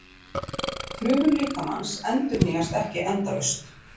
Frumur líkamans endurnýjast ekki endalaust.